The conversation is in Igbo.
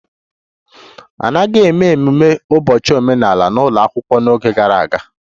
A naghị eme ememe ụbọchị omenala n'ụlọ akwụkwọ n'oge gara aga